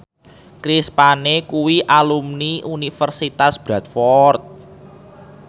Chris Pane kuwi alumni Universitas Bradford